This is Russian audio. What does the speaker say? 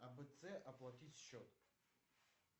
абц оплатить счет